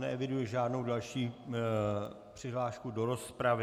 Neeviduji žádnou další přihlášku do rozpravy.